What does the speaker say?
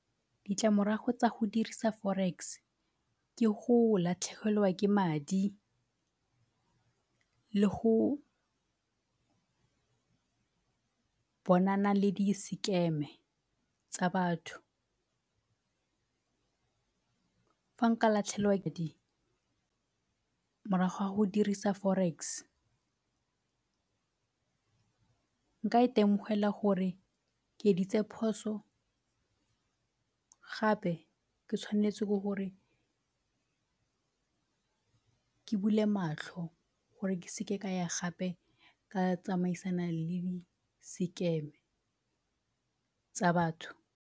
Ditlamorago tsa go dirisa forex ke go latlhegelwa ke madi le go bonana le di-scam-e tsa batho. Fa nka latlhelwa morago ga go dirisa forex nka itemogela gore ke editse phoso gape ke tshwanetse ke gore ke bule matlho gore ke seke ka ya gape ka tsamaisana le di-scam-e tsa batho.